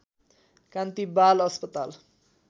कान्ति बाल अस्पताल